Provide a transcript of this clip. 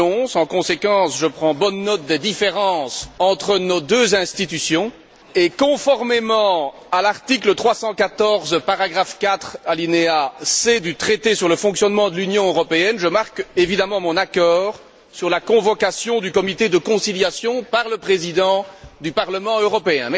2011. En conséquence, je prends bonne note des différences entre nos deux institutions et, conformément à l'article 314, paragraphe 4, alinéa c, du traité sur le fonctionnement de l'Union européenne, je marque évidemment mon accord sur la convocation du comité de conciliation par le Président du Parlement européen.